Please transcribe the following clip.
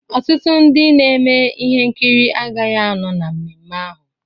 Ọtụtụ ndị na-eme ihe nkiri agaghị anọ na mmemme ahụ.